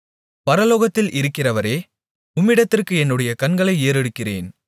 பரலோகத்தில் இருக்கிறவரே உம்மிடத்திற்கு என்னுடைய கண்களை ஏறெடுக்கிறேன்